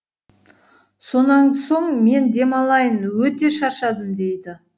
сонан соң мен демалайын өте шаршадым дейді